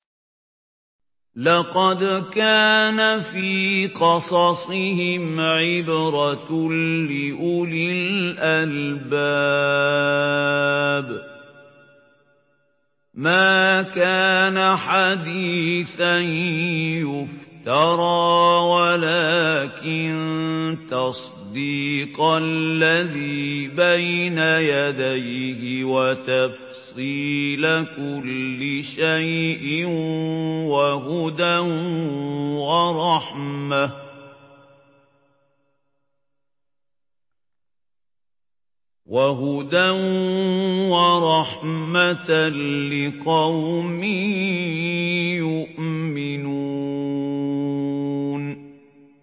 لَقَدْ كَانَ فِي قَصَصِهِمْ عِبْرَةٌ لِّأُولِي الْأَلْبَابِ ۗ مَا كَانَ حَدِيثًا يُفْتَرَىٰ وَلَٰكِن تَصْدِيقَ الَّذِي بَيْنَ يَدَيْهِ وَتَفْصِيلَ كُلِّ شَيْءٍ وَهُدًى وَرَحْمَةً لِّقَوْمٍ يُؤْمِنُونَ